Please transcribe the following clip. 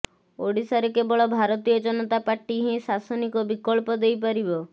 ଓଡ଼ିଶାରେ କେବଳ ଭାରତୀୟ ଜନତା ପାର୍ଟି ହିଁ ଶାସନିକ ବିକଳ୍ପ ଦେଇ ପାରିବ